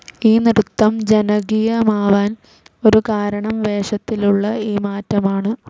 ഈ നൃത്തം ജനകീയമാവാൻ ഒരു കാരണം വേഷത്തിലുള്ള ഈ മാറ്റമാണ്.